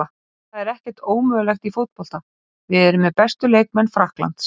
En það er ekkert ómögulegt í fótbolta, við erum með bestu leikmenn Frakklands.